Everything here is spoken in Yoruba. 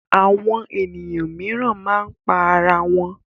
Àwọn ènìyàn mìíràn máa ń pa ara wọn.